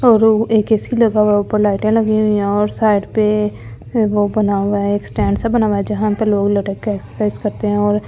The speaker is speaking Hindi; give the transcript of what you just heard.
और एक ए_सी लगा हुआ है ऊपर लाइटें लगी हुई है और साइड पे वो बना हुआ है एक स्टैंड सा बना हुआ है जहां पर लोग लटक के एक्सरसाइज करते हैं और--